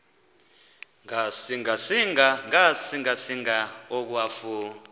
ngasinga singa akwafu